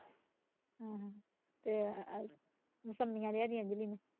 ਆਹੋ ਤੇ ਮੋਸਮੀਆ ਲਿਆ ਦੀ ਅੰਜਲੀ ਨੂੰ